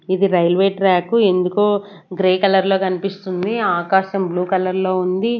ఇది railway track ఎందుకో grey కలర్లో కనిపిస్తుంది ఆకాశం బ్లూ కలర్లో ఉంది.